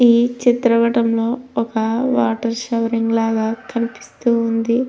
ఈ చిత్ర పటంలో ఒక వాటర్ శవరింగ్ లాగా కనిపిస్తుంది.